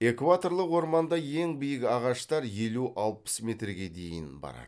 экваторлық орманда ең биік ағаштар елу алпыс метрге дейін барады